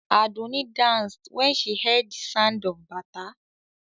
Àdùnní danced when she heard the sound of Bata.